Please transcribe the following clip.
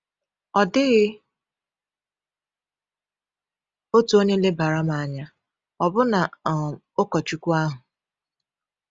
“Ọ dịghị otu onye lebara m anya, ọbụna um ụkọchukwu ahụ.”